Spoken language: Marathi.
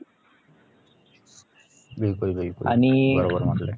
बिलकुल बिलकुल बरोबर म्हटलंय